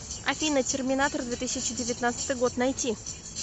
афина терминатор две тысячи девятнадцатый год найти